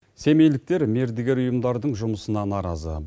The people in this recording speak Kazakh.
семейліктер мердігер ұйымдардың жұмысына наразы